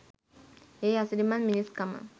ඒ අසිරිමත් මිනිස්කම